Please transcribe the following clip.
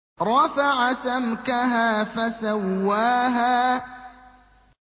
رَفَعَ سَمْكَهَا فَسَوَّاهَا